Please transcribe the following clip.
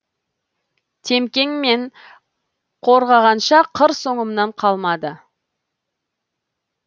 темкең мен қорғағанша қыр соңымнан қалмады